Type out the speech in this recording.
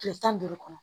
Kile tan ni duuru kɔnɔ